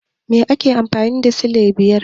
Me ake nufi da silai biyar?